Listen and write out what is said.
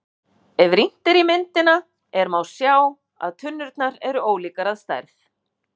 Ef rýnt er í myndina er má sjá að tunnurnar eru ólíkar að stærð.